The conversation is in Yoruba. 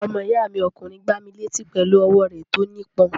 Ọmọ ìyá mi ọkùnrin gbá mi létí pẹ̀lú ọwọ́ rẹ̀ tó nípọn.